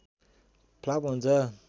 flop हुन्छ